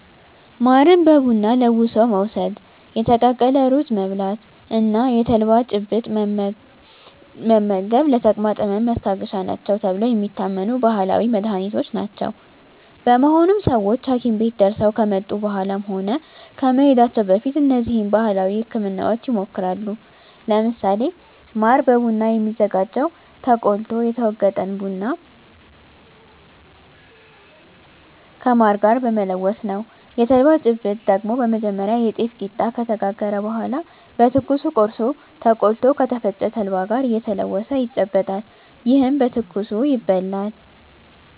ማርን በቡና ለውሶ መውስድ፣ የተቀቀለ ሩዝ መብላት እና የተልባ ጭብጥ መመገብ ለተቅማጥ ህመም ማስታገሻ ናቸው ተብለው የሚታመኑ ባህላዊ መድሀኒቶች ናቸው። በመሆኑም ሰወች ሀኪም ቤት ደርሰው ከመጡ በኃላም ሆነ ከመሄዳቸው በፊት እነዚህን ባህላዊ ህክምናወች ይሞክራሉ። ለምሳሌ ማር በቡና የሚዘጋጀው ተቆልቶ የተወገጠን ቡና ከማር ጋር በመለወስ ነው። የተልባ ጭብጥ ደግሞ በመጀመሪያ የጤፍ ቂጣ ከተጋገረ በኃላ በትኩሱ ቆርሶ ተቆልቶ ከተፈጨ ተልባ ጋር እየተለወሰ ይጨበጣል። ይህም በትኩሱ ይበላል።